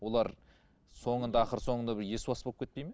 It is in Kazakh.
олар соңында ақыр соңында бір есуас болып кетпейді ме